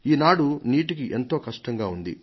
ఈనాడు నీటికి ఎంతో కష్టంగా ఉంది